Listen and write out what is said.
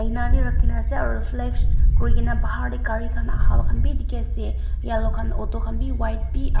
aina teh rakhina ase aru flex kurigena bahar teh gari khan aha khan bi dikhi ase yellow khan auto khan bi white bi aro